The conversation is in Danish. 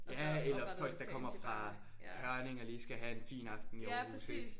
Ja eller folk der kommer fra Hørning og lige skal have en fin aften i Aarhus ik